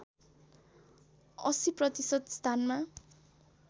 ८० प्रतिशत स्थानमा